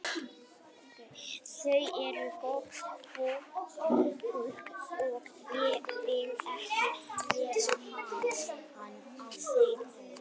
Þau eru gott fólk og ég vil ekki vera án þeirra.